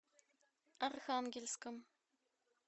архангельском